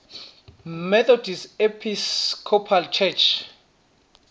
methodist episcopal church